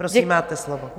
Prosím, máte slovo.